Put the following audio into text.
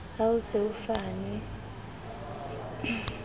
ha ho se ho fanwe